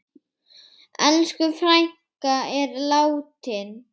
Elsku frænka er látin.